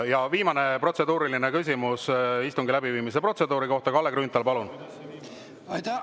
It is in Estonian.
Ja viimane protseduuriline küsimus istungi läbiviimise protseduuri kohta, Kalle Grünthal, palun!